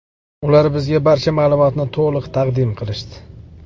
Ular bizga barcha ma’lumotlarni to‘liq taqdim qilishdi.